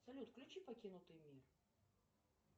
салют включи покинутый мир